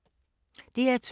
DR2